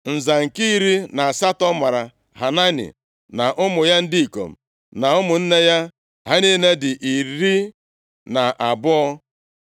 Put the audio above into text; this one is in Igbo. Nza nke iri na asatọ mara Hanani, na ụmụ ya ndị ikom na ụmụnne ya. Ha niile dị iri na abụọ (12).